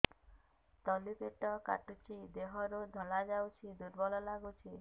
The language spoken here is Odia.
ତଳି ପେଟ କାଟୁଚି ଦେହରୁ ଧଳା ଯାଉଛି ଦୁର୍ବଳ ଲାଗୁଛି